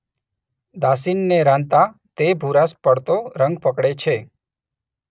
દાશીનને રાંધતા તે ભૂરાશ પડતો રંગ પકડે છે